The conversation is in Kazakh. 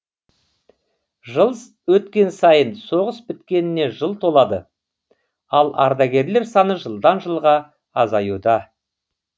жыл өткен сайын соғыс біткеніне жыл толады ал ардагерлер саны жылдан жылға азаюда